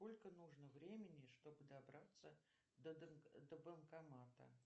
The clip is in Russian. сколько нужно времени чтобы добраться до банкомата